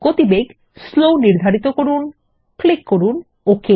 গতি বেগ স্লো নির্ধারিত করুন ক্লিক করুন OK